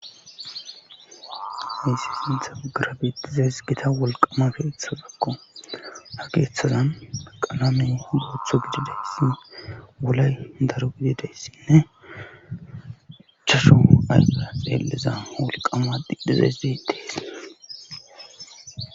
Issi sinta ugarabitizeys gita wolqama geetha dakko hageethazan qalamey gootho gididayssi wolay daru gidideyssinne chasho ayfa xeelliza wolqama dhidhizays deetees